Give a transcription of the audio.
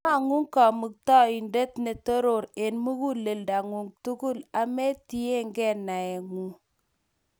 Imang'u Kamuktaindet ne Toroor eng' muguleldang'ung' tugul, ametiegei naeng'u.